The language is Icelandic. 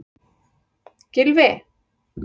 Gylfi